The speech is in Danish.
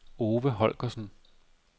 Ove Holgersen